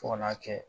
Fo ka n'a kɛ